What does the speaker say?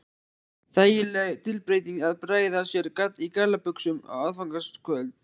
Þægileg tilbreyting að bregða sér í gallabuxur á aðfangadagskvöld